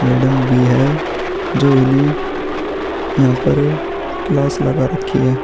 Madam भी है जो इन्हे यहाँ पर क्लास लगा रखी है।